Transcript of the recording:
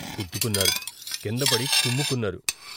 గుద్దుకున్నారు, కిందపడి కుమ్ముకున్నారు.